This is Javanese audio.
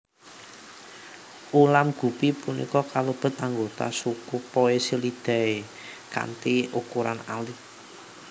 Ulam Guppy punika kalebet anggota suku poecilidae kanthi ukuran alit